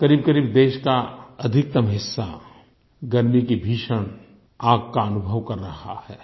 क़रीबक़रीब देश का अधिकतम हिस्सा गर्मी की भीषण आग का अनुभव कर रहा है